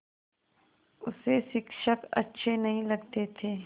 उसे शिक्षक अच्छे नहीं लगते थे